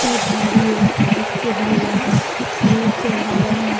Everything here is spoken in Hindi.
एक गाड़ी है जिस पे भैया कलर चढ़ा रहे हैं।